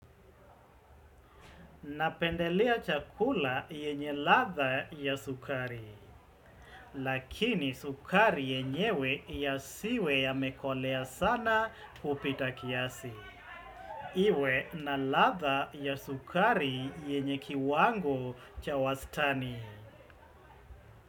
Napendelea chakula yenye ladha ya sukari, lakini sukari yenyewe ya siwe ya mekolea sana kupita kiasi. Iwe na latha ya sukari yenye kiwango cha wastani.